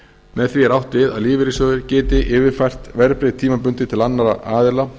með því er átt við að lífeyrissjóðir geti yfirfært verðbréf tímabundið til annarra aðila